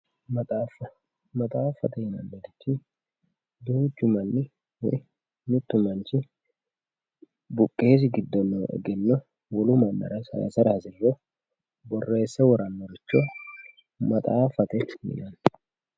maxaafffa, maxaaffate yinannihu duuchu manni mittu manchi buqqeesi giddo no egenno wolu mannira sayiisa hasi'riro borreesse worannoricho maxaaffate yinanni.